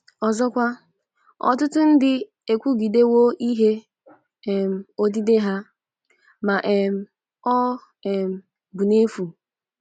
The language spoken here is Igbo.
Ọzọkwa, ọtụtụ ndị ekwugidewo ihe um odide ha, ma um ọ um bụ n'efu.